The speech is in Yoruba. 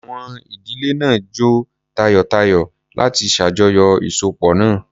Àwọn ìdílé náà jó tayọ̀tayọ̀ láti ṣàjọyọ̀ ìsopọ̀ náà.